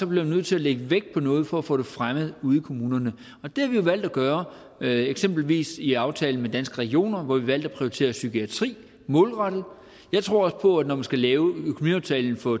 bliver nødt til at lægge vægt på noget for at få det fremmet ude i kommunerne det har vi valgt at gøre eksempelvis i aftalen med danske regioner hvor vi valgte at prioritere psykiatri målrettet jeg tror også på at når man skal lave økonomiaftalen for